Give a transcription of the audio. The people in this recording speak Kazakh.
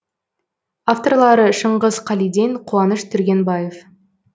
авторлары шыңғыс қалиден қуаныш түргенбаев